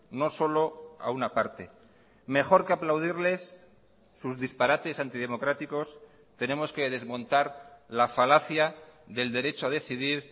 no solo a una parte mejor que aplaudirles sus disparates antidemocráticos tenemos que desmontar la falacia del derecho a decidir